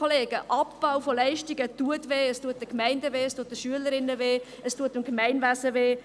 Ja, Abbau von Leistungen schmerzt, es schmerzt die Gemeinden, die Schülerinnen und Schüler, das Gemeindewesen.